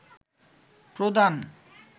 প্রদান